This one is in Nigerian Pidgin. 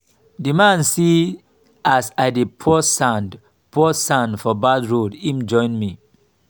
di man see as i dey pour sand pour sand for bad road im join me.